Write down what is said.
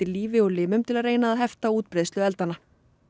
lífi og limum til að reyna að hefta útbreiðslu eldanna